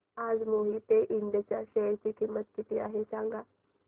आज मोहिते इंड च्या शेअर ची किंमत किती आहे मला सांगा